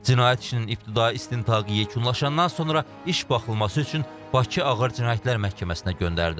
Cinayət işinin ibtidai istintaqı yekunlaşandan sonra iş baxılması üçün Bakı Ağır Cinayətlər Məhkəməsinə göndərilib.